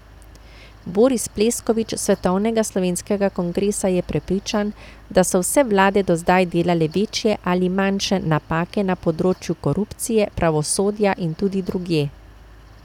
Boris Pleskovič s Svetovnega slovenskega kongresa je prepričan, da so vse vlade do zdaj delale večje ali manjše napake na področju korupcije, pravosodja in tudi drugje.